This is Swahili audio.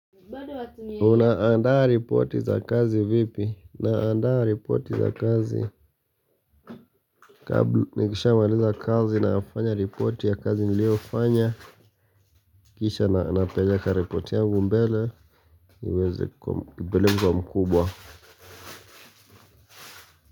Unaandaa ripoti za kazi vipi? Naandaa ripoti za kazi Kabla nikisha maaleza kazi na afanya ripoti ya kazi niliofanya Kisha napeleka ripoti yangu mbele niweze kupeleka kwa mkubwa.